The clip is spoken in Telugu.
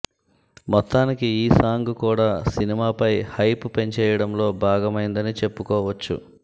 మొత్తానికి ఈ సాంగ్ కూడా సినిమాపై హైప్ పెంచేయడంలో భాగమైందని చెప్పుకోవచ్చు